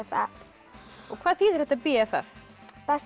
hvað þýðir þetta b f f best